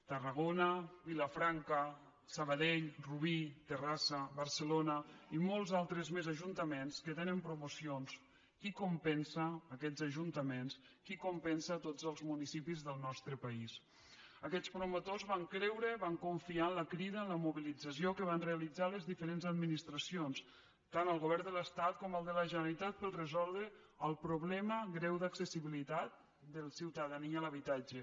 tarragona vilafranca sabadell rubí terrassa barcelona i molts altres més ajuntaments que tenen promocions qui compensa aquests ajuntaments qui compensa tots els municipis del nostre país aquests promotors van creure van confiar amb la crida a la mobilització que van realitzar les diferents administracions tant el govern de l’estat com el de la generalitat per resoldre el problema greu d’accessibilitat de la ciutadania a l’habitatge